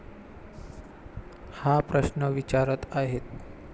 हा प्रश्न विचारत आहेत.